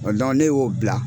ne y'o bila.